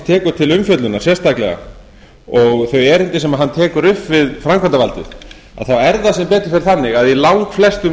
tekur til umfjöllunar sérstaklega og þau erindi sem hann tekur upp við framkvæmdavaldið þá er það sem betur fer þannig að í langflestum